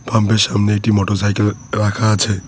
পাম্পের সামনে একটি মোটরসাইকেল রাখা আছে।